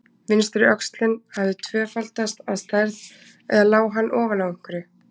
Vinstri öxlin hafði tvöfaldast að stærð, eða lá hann ofan á einhverju?